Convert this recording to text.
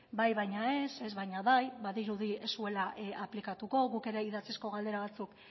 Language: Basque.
bai baina ez ez baina bai badirudi ez zuela aplikatuko guk ere idatzizko galdera batzuk